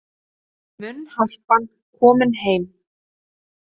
Munnharpan komin heim